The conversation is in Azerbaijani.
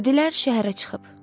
Dedilər, şəhərə çıxıb.